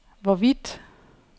hvorvidt